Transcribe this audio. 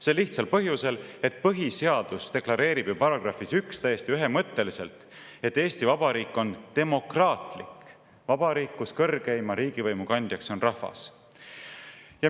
Sel lihtsal põhjusel, et põhiseadus deklareerib §-s 1 täiesti ühemõtteliselt, et Eesti Vabariik on demokraatlik vabariik, kus kõrgeima riigivõimu kandja on rahvas.